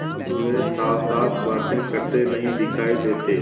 अब वे साथसाथ बातें करते नहीं दिखायी देते